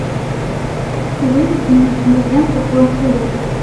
выведи мне киноленту тонкий лед